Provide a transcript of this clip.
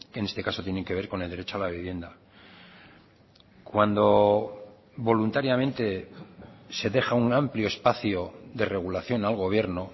en este caso tienen que ver con el derecho a la vivienda cuando voluntariamente se deja un amplio espacio de regulación al gobierno